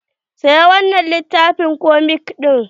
"sayi wannan littafin komik din".